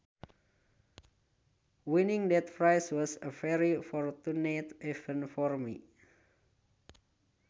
Winning that prize was a very fortunate event for me